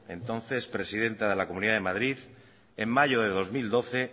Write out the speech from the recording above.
entonces presidenta de la comunidad de madrid en mayo de dos mil doce